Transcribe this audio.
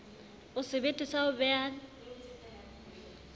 o sebete sa ho beha